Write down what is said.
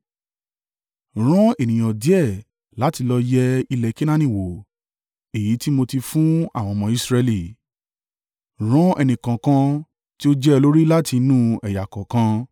“Rán ènìyàn díẹ̀ láti lọ yẹ ilẹ̀ Kenaani wò èyí tí mo ti fún àwọn ọmọ Israẹli. Rán ẹnìkọ̀ọ̀kan, tí ó jẹ́ olórí láti inú ẹ̀yà kọ̀ọ̀kan.”